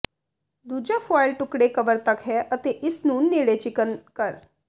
ਦੂਜਾ ਫੁਆਇਲ ਟੁਕੜੇ ਕਵਰ ਤੱਕ ਹੈ ਅਤੇ ਇਸ ਨੂੰ ਨੇੜੇ ਚਿਕਨ ਕਰ